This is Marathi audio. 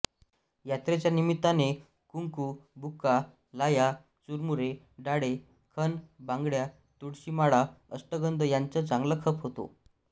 यात्रेच्या निमित्ताने कुंकू बुक्का लाह्या चुरमुरे डाळे खण बांगड्या तुळशीमाळा अष्टगंध यांचा चांगला खप होतो